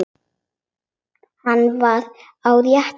Hann var á réttri leið.